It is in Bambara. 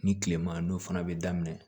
Ni tilema n'o fana bɛ daminɛ